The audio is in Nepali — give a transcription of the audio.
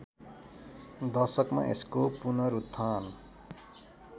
दशकमा यसको पुनरुत्थान